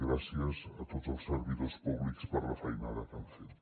gràcies a tots els servidors públics per la feinada que han fet